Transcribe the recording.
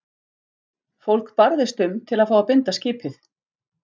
Fólk barðist um til að fá að binda skipið.